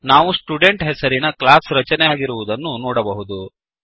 ನಾವು ಸ್ಟುಡೆಂಟ್ ಹೆಸರಿನ ಕ್ಲಾಸ್ ರಚನೆಯಾಗಿರುವುದನ್ನು ನೋಡಬಹುದು